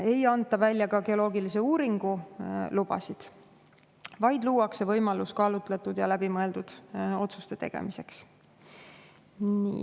Ei anta välja ka geoloogilise uuringu lubasid, vaid luuakse võimalus teha kaalutletud ja läbimõeldud otsuseid.